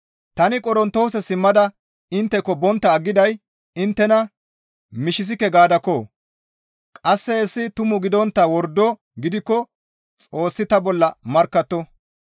Tani Qorontoose simmada intteko bontta aggiday inttena mishisikke gaadakko; qasse hessi tumu gidontta wordo gidikko Xoossi ta bolla markkatto.